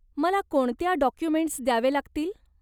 मला कोणत्या डाॅक्युमेंटस् द्यावे लागतील?